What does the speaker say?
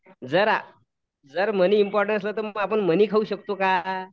जर जर money important असलं तर आपण मनी खाऊ शकतो का?